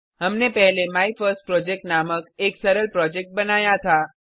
हमने पहले माइफर्स्टप्रोजेक्ट नामक एक सरल प्रोजेक्ट बनाया था